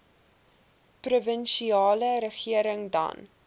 provinsiale regering dan